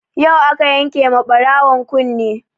Yau aka yanke ma ɓarawon kune